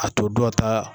A to dɔ ta